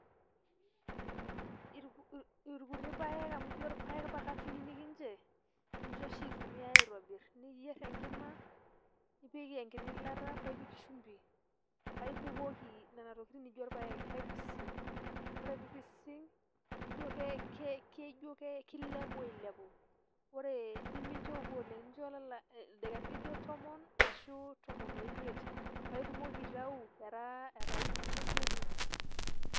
Irkuti paek amu ijo paek pa katunini inche, ninche oshi itumiai aitobir, niyier tenkima, nipik enkiti ilata pa ipik shumbi.pa ibukoki nena tokiting' naijo paek, pa ipising'. Ore pipising' paijo ke kilepu ailepu. Ore nimincho eoku oleng',nchoo ildaikani lijo tomon, ashu tomon oimiet. Pa itumoki aitau etaa ijo iji etiu.